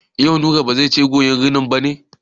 Yau Nura ba zai je koyan rinin ba ne?